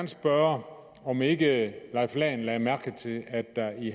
spørge om ikke herre leif lahn jensen lagde mærke til at der i